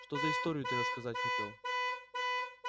что за историю ты рассказать хотел